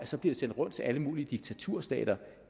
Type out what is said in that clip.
så bliver sendt rundt til alle mulige diktaturstater